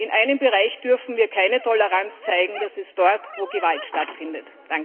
In einem Bereich dürfen wir keine Toleranz zeigen, das ist dort, wo Gewalt stattfindet.